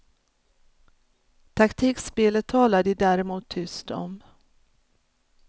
Taktikspelet talar de däremot tyst om.